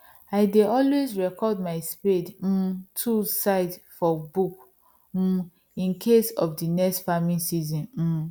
i dey always record my spade um tools size for book um incase of next farming season um